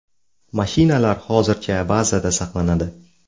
Mashinalar hozircha bazada saqlanadi.